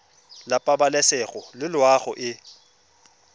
la pabalesego le loago e